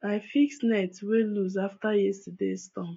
i fix net wey loose after yesterdays storm